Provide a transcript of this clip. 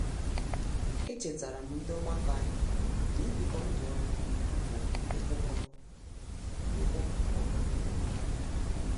Echetaram ndị ọgbakọ anyị n'ibiko ndụ ọnụ bụ ikwuko ụgbọ ọbụla ọnụ